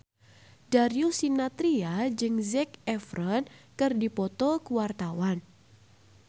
Darius Sinathrya jeung Zac Efron keur dipoto ku wartawan